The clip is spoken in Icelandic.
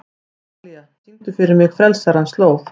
Atalía, syngdu fyrir mig „Frelsarans slóð“.